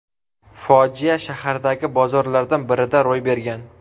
Fojia shahardagi bozorlardan birida ro‘y bergan.